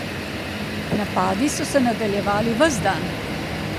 Napadi so se nadaljevali ves dan.